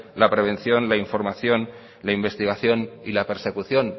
la prevención la información la investigación y la persecución